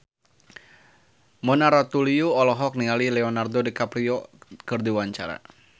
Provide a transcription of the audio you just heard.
Mona Ratuliu olohok ningali Leonardo DiCaprio keur diwawancara